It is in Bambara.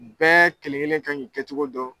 Bɛɛ kelen-kelen kan k'i kɛcogo dɔn